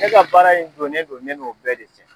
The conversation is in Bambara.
E ka baara in donnen don ne n'o bɛɛ de cɛ.